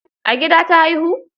A gida ta haihu?